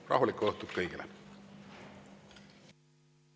Rahulikku õhtut kõigile!